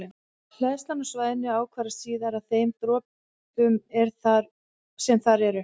Hleðslan á svæðinu ákvarðast síðan af þeim dropum sem þar eru.